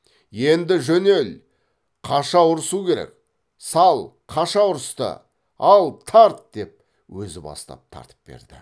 енді жөнел қаша ұрысу керек сал қаша ұрысты ал тарт деп өзі бастап тартып берді